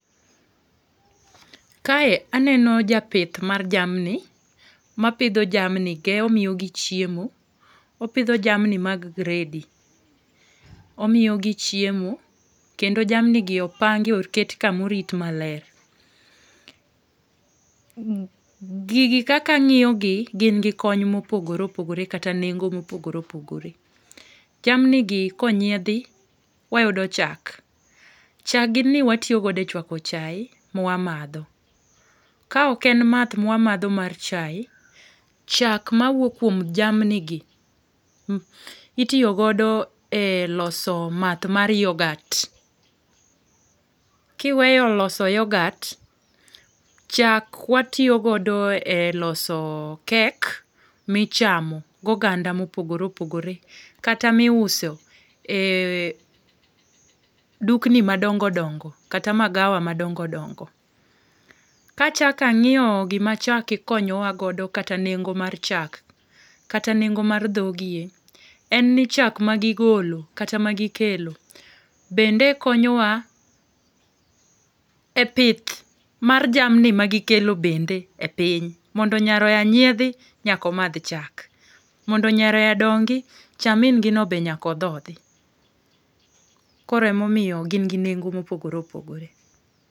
Kae aneno japith mar jamni, mapidho jamni omiyogi chiemo. Opidho jamni mag gredi. Omiyo gi chiemo kendo jamnigi opangi, oket kamorit maler. Gigi kaka ang'iyogi gin gi kony mopogore opogore kata nengo mopogore opogore. Jamnigi konyiedhi, wayudo chak ,chag gini watiyo godo e chwako chaye mwamadho. Ka ok en math mwa madho mar chaye, chak mawuok kuom jamnigi, itiyo godo e loso math mar yoghurt. Kiweyo loso yoghurt, chak watiyo godo e loso cake michamo goganda mopogore opogore kata miuso e dukni madongo dongo kata magawa madongo dongo. Kachako ang'iyo gima chak konyowa godo kata nengo mar chak kata nengo mar dhogie, en ni chak magigolo kata magikelo bende konyowa e pith mar jamni magikelo bende e piny, mondo nyaroya nyiedhi, nyaka omadh chak, mondo nyaroya dongi, cha min gino be nyaka odhodhi. Koro emomiyo gin gi nengo mopogore opogore.